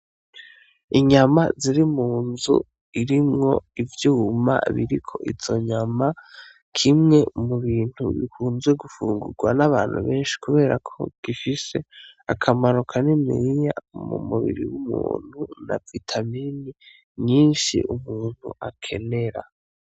Inyama ziri mu nzu irimwo ivyuma biriko izo nyama kimwe mu bintu bikunzwe gufungurwa n'abantu benshi, kubera ko gifise akamaro kaniniya mu mubiri w'umuntu na vitamini nyinshi umuntu akenera.